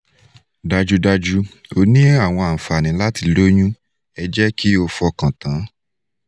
dájúdájú o ní àwọn ànfàní láti loyun ẹ jẹ́ kí o fọkàn tán